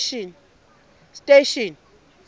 station